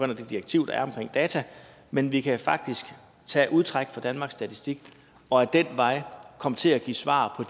det direktiv der er om data men vi kan faktisk tage udtræk fra danmarks statistik og ad den vej komme til at give svar